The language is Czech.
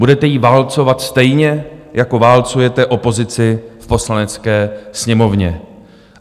Budete ji válcovat, stejně jako válcujete opozici v Poslanecké sněmovně.